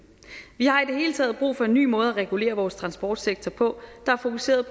vi har i det hele taget brug for en ny måde at regulere vores transportsektor på der er fokuseret